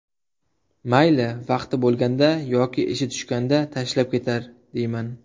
Mayli, vaqti bo‘lganda yoki ishi tushganda tashlab ketar deyman.